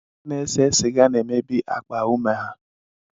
Ndị na-ese siga na-emebi akpa ume ha.